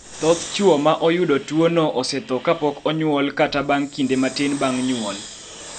Thoth chwo ma oyudo tuono osetho kapok onyuol kata bang� kinde matin bang� nyuol.